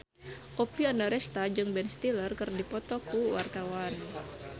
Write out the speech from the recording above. Oppie Andaresta jeung Ben Stiller keur dipoto ku wartawan